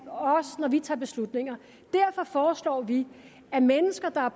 når vi tager beslutninger derfor foreslår vi at mennesker der er